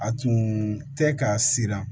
A tun tɛ ka siran